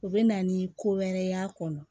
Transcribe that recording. U bɛ na ni ko wɛrɛ y'a kɔnɔ